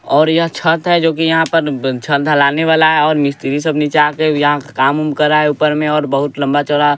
और यह छत है जोकि यहाँ पर ब छत ढलाने वाला है और मिस्त्री सब नीचे आके यहाँ काम उम कर रहा है ऊपर में और बहुत लंबा चौड़ा --